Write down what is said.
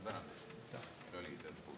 Aitäh!